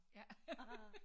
Ja